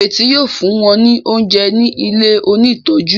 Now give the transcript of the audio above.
Ireti yíò fún wón ní oúnjẹ ní ilẹ òní tọjú.